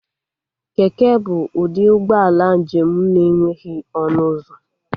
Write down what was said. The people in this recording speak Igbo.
Keke bụ ụdị ụgbọala njem na-enweghị ọnụ ụzọ